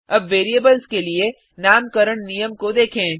अब वेरिएबल्स के लिए नामकरण नियम को देखें